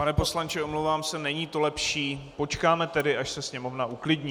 Pane poslanče, omlouvám se, není to lepší, počkáme tedy, až se Sněmovna uklidní.